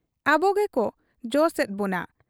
ᱟᱵᱚ ᱜᱮᱠᱚ ᱡᱚᱥ ᱮᱫ ᱵᱚᱱᱟ ᱾